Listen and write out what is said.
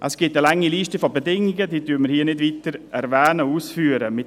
Es gibt eine lange Liste von Bedingungen, welche wir hier nicht weiter erwähnen, ausführen werden.